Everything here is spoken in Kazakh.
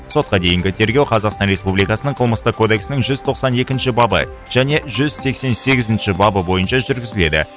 сотқа дейінгі тергеу қазақстан республикасының қылмыстық кодексінің жүз тоқсан екінші бабы және жүз сексен сегізінші бабы бойынша жүргізіледі